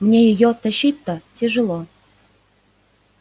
мне её тащить-то тяжело